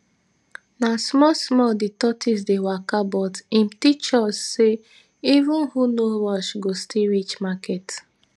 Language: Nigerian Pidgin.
na small small the tortoise dey waka but im teach us say even who no rush go still reach market